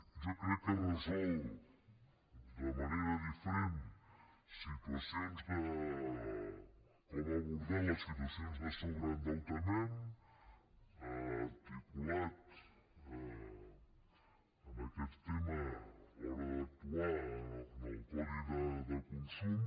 jo crec que resol de manera diferent situacions de com abordar les situacions de sobreendeutament articulat en aquest tema a l’hora d’actuar en el codi de consum